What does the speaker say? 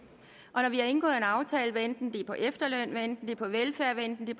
når vi har indgået en aftale hvad enten det er om efterløn hvad enten det er velfærd hvad enten det